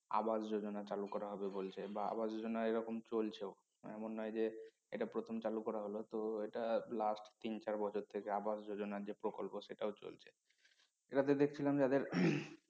আবাস যোজনা চালু করা হবে বলছে বা আবাস যোজনা এরকম চলছেও এমন নয় যে এটা প্রথম চালু করা হল তো এটা last তিন চার বছর থেকে আবাস যোজনার যে প্রকল্প সেটাও চলছেে এটাতে দেখছিলাম যে